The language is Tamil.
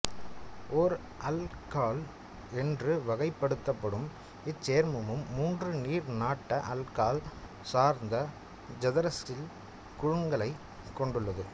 ஓர் ஆல்ககால் என்று வகைப்படுத்தப்படும் இச்சேர்மம் மூன்று நீர் நாட்ட ஆல்ககால் சார்ந்த ஐதராக்சில் குழுக்களை கொண்டுள்ளது